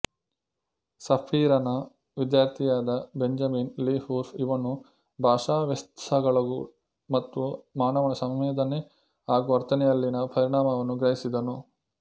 ಸಪೀರನ ವಿಧ್ಯಾರ್ಥಿಯಾದ Benjamin Lee Whorf ಇವನು ಭಾಷಾವ್ಯಾತ್ಸಾಸಗಳು ಮತ್ತು ಮಾನವನ ಸಂವೇದನೆ ಹಾಗೂ ವರ್ತನೆಯಲ್ಲಿನ ಪರಿಣಾಮವನ್ನು ಗ್ರಹಿಸಿದನು